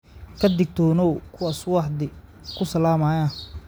Ka digtoonow kuwa subaxdii ku salaamaya